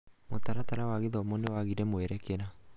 mũtaratara wa gĩthomo nĩwagire mwerekera.